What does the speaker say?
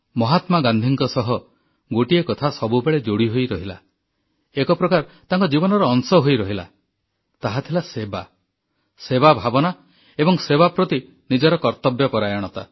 ମହାତ୍ମା ଗାନ୍ଧୀଙ୍କ ସହ ଗୋଟିଏ କଥା ସବୁବେଳେ ଯୋଡ଼ି ହୋଇ ରହିଲା ଏକ ପ୍ରକାର ତାଙ୍କ ଜୀବନର ଅଂଶ ହୋଇ ରହିଲା ତାହା ଥିଲା ସେବା ସେବା ଭାବନା ଏବଂ ସେବା ପ୍ରତି ନିଜର କର୍ତ୍ତବ୍ୟପରାୟଣତା